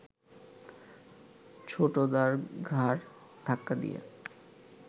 ছোটদার ঘাড় ধাক্কা দিয়ে